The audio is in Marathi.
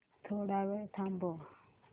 थोडा वेळ थांबव